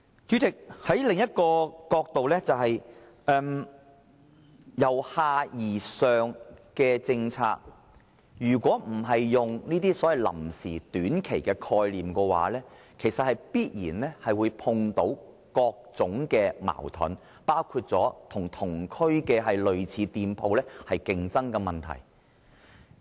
主席，從另一個角度來看，對於由下而上這政策，如果不是採用臨時或短期的概念來做，便必然會碰到各種矛盾，包括與同區類似店鋪出現競爭的問題。